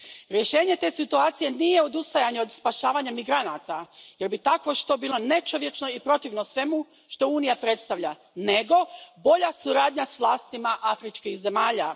Rješenje te situacije nije odustajanje od spašavanja migranata jer bi takvo što bilo nečovječno i protivno svemu što Unija predstavlja, nego bolja suradnja s vlastima afričkih zemalja.